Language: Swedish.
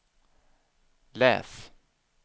läs